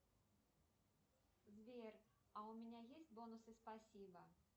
сбер а у меня есть бонусы спасибо